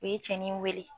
U ye cɛni in wele